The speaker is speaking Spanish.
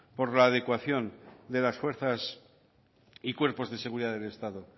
por la adecuación de las fuerzas y cuerpos de seguridad del estado